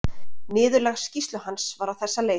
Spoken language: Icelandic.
Niðurlag skýrslu hans var á þessa leið